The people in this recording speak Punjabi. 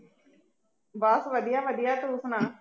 ਬੱਸ ਵਧੀਆ ਵਧੀਆ ਤੂੰ ਸੁਣਾ